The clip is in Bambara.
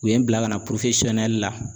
U ye n bila ka na la.